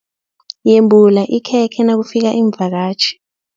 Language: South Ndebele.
Yembula ikhekhe nakufika iimvakatjhi.